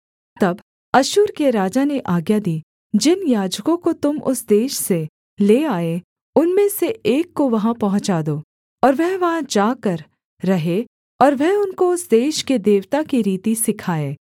तब अश्शूर के राजा ने आज्ञा दी जिन याजकों को तुम उस देश से ले आए उनमें से एक को वहाँ पहुँचा दो और वह वहाँ जाकर रहे और वह उनको उस देश के देवता की रीति सिखाए